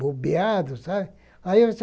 bombeado, sabe? Aí eles